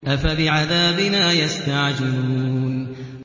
أَفَبِعَذَابِنَا يَسْتَعْجِلُونَ